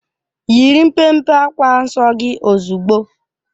Yiri mpe mpe akwa nsọ gị ozugbo!